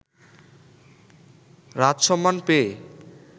রাজসম্মান পেয়ে